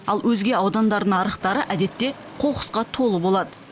ал өзге аудандардың арықтары әдетте қоқысқа толы болады